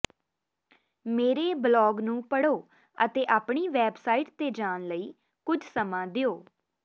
ਮੇਰੇ ਬਲਾਗ ਨੂੰ ਪੜ੍ਹੋ ਅਤੇ ਆਪਣੀ ਵੈਬਸਾਈਟ ਤੇ ਜਾਣ ਲਈ ਕੁਝ ਸਮਾਂ ਦਿਓ